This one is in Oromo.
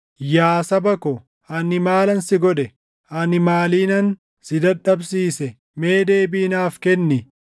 “Yaa saba ko, ani maalan si godhe? Ani maaliinan si dadhabsiise? Mee deebii naaf kenni.